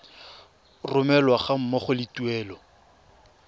romelwa ga mmogo le tuelo